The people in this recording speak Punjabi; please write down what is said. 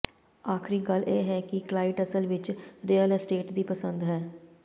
ਆਖਰੀ ਗੱਲ ਇਹ ਹੈ ਕਿ ਕਲਾਇਟ ਅਸਲ ਵਿਚ ਰੀਅਲ ਅਸਟੇਟ ਦੀ ਪਸੰਦ ਹੈ